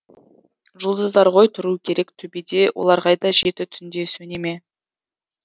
жұлдыздар ғой тұру керек төбеде олар қайда жеті түнде сөнеме